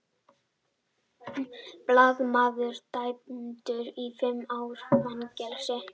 Blaðamaður dæmdur í fimm ára fangelsi